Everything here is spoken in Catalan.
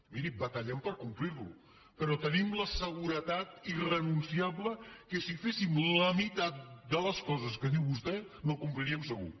miri batallem per complir lo però tenim la seguretat irrenunciable que si féssim la meitat de les coses que diu vostè no el compliríem segur